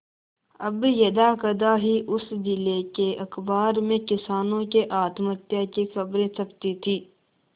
अब यदाकदा ही उस जिले के अखबार में किसानों के आत्महत्या की खबरें छपती थी